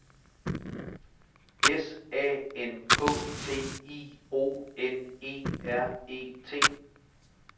S A N K T I O N E R E T